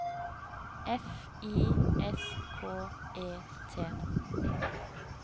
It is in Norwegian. F I S K E T